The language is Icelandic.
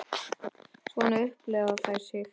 Svona upplifa þær sig.